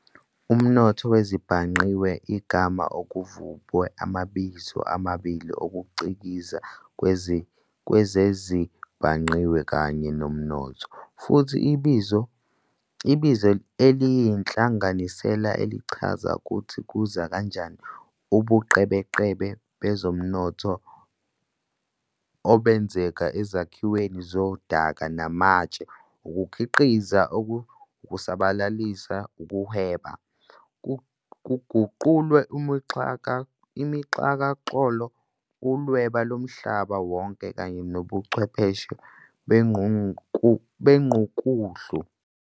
Umnotho wezezibhangqiwe, igama okuvubwe amabizo amabili ukucikiza kwezezibhangqiwe kanye nomnotho, futhi ibizo eliyinhlanganisela elichazisa ukuthi kuza kanjani ubuqhebeqhebe bezomnotho obenzeka ezakhiweni zodaka namatshe, ukukhiqiza, ukusabalalisa, ukuhweba, buguqulwe uxhakaxholo, uLwebu loMhlaba Wonke, kanye nobuchwepheshe bengqukuhlu.